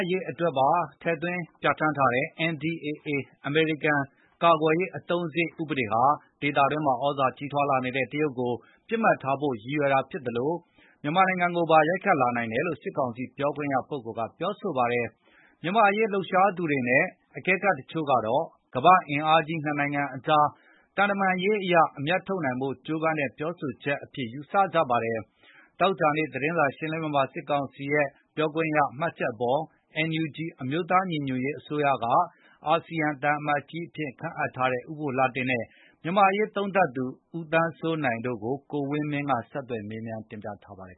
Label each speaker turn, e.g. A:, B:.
A: ရေး အတွက်ပါ ထည့်သွင်းပြဌာန်းထားတဲ့ NDAA အမေရိကန် ကာကွယ်ရေး အသုံးစားရိတ် ဥပဒေဟာ ဒေသတွင်းမှာ သြဇာကြီးထွားလာနေတဲ့ တရုတ်နိုင်ငံကို ပစ်မှတ်ထားဖို့ ရည်ရွယ်ထားသလို၊ မြန်မာနိုင်ငံကိုပါ ရိုက်ခတ်လာနိုင်တယ်လို့ စစ်ကောင်စီ ပြောခွင့်ရက ပြောဆိုလိုက်ပါတယ်။ မြန်မာ့အရေး လှုပ်ရှားသူတွေနဲ့ အကဲခတ်တချို့ကတော့ ကမ္ဘာ့အင်အားကြီး ၂ နိုင်ငံကြား သံတမန်ရေးအရ အမြတ်ထုတ်ဖို့ ကြိုးပမ်းတဲ့ ပြောဆိုချက်အဖြစ် ယူဆကြပါတယ်။ သောကြာနေ့ သတင်းစာရှင်းလင်းပွဲမှာ စစ်ကောင်စီပြောခွင့်ရရဲ့ မှတ်ချက်အပေါ် NUG အမျိုးသားညီညွတ်ရေးအစိုးရက အာဆီယံဆိုင်ရာ သံအမတ်ကြီးအဖြစ် ခန့်အပ်ထားတဲ့ ဦးဘိုလှတင့်နဲ့ မြန်မာ့အရေးသုံးသပ်သူ ဦးသန်းစိုးနိုင်တို့ကို ကိုဝင်းမင်းက မေ
B: းမြန်းတင်ပြထားပါတယ်